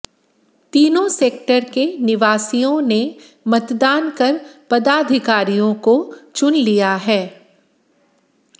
तीनों सेक्टर के निवासियों ने मतदान कर पदाधिकारियों को चुन लिया है